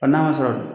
A n'a ma sɔrɔ